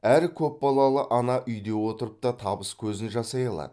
әр көпбалалы ана үйде отырып та табыс көзін жасай алады